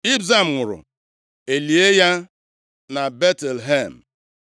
Ibzan nwụrụ, e lie ya na Betlehem.